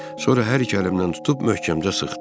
Sonra hər iki əlimdən tutub möhkəmcə sıxdı.